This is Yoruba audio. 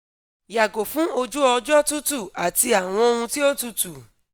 yago fun oju-ọjọ tutu ati awọn ohun ti o tutu